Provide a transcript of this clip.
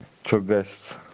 чего гасится